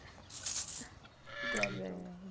Obrigado, então.